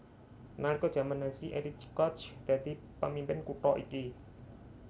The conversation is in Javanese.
Nalika jaman Nazi Erich Koch dadi pamimpin kutha iki